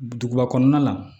Duguba kɔnɔna la